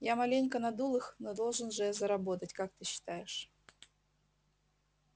я маленько надул их но должен же я заработать как ты считаешь